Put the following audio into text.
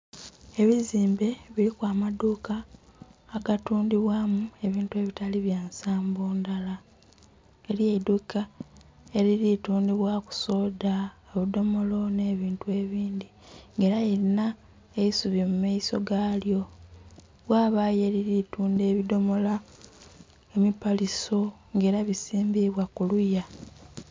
Ebizimbe biriku amadhuuka agatundhibwamu ebintu ebitali byansambo ndhala, eriyo eidhuuka eriri tundhibwaku soda, obudhomolo n'ebintu ebindhi nga era lirina eisubi mumaiso galyo. wabayo eriri tundha ebidhomola, emipaliso nga era bisimbibwa kuluya.